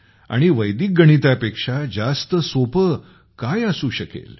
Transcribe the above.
आणि वैदिक गणितापेक्षा जास्त सोपे काय असू शकेल